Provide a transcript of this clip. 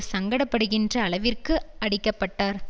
சங்கடப்படுகின்ற அளவிற்கு அடிக்கப்பட்டார்